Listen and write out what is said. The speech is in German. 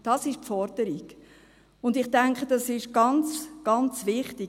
Das ist die Forderung, und ich denke, das ist ganz, ganz wichtig.